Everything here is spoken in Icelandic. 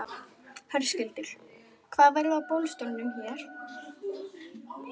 Höskuldur: Hvað verður á boðstólum hér?